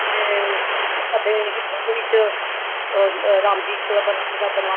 ਅਹ ਸਾਡੇ ਹਿੰਦੁਆਂ ਵਿੱਚ ਉਹ ਰਾਮ ਜੀ ਚੋਦਾਂ ਵਰਸ਼ ਦਾ ਵਣਵਾਸ